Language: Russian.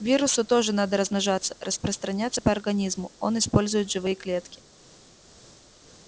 вирусу тоже надо размножаться распространяться по организму он использует живые клетки